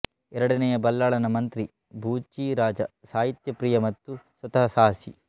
ಎರಡನೆಯ ಬಲ್ಲಾಳನ ಮಂತ್ರಿ ಬೂಚಿರಾಜ ಸಾಹಿತ್ಯಪ್ರಿಯ ಮತ್ತು ಸ್ವತಃ ಸಾಹಸಿ